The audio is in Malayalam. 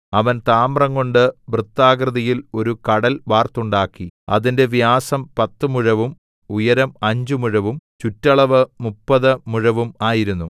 അവൻ താമ്രംകൊണ്ട് വൃത്താകൃതിയിൽ ഒരു കടൽ വാർത്തുണ്ടാക്കി അതിന്റെ വ്യാസം പത്ത് മുഴവും ഉയരം അഞ്ച് മുഴവും ചുറ്റളവ് മുപ്പത് മുഴവും ആയിരുന്നു